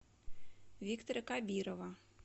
виктора кабирова